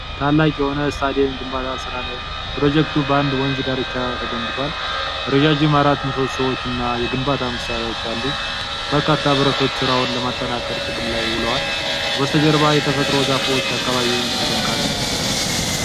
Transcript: ታላቅ የሆነ የስታዲየም ግንባታ ሥራ ላይ ነው። ፕሮጀክቱ በአንድ ወንዝ ዳርቻ ተገንብቷል። ረዣዥም አራት ምሰሶዎች እና የግንባታ መሣሪያዎች አሉ። በርካታ ብረቶች ሥራውን ለማጠናከር ጥቅም ላይ ውለዋል። በስተጀርባ የተፈጥሮ ዛፎች አካባቢውን ያደምቃሉ።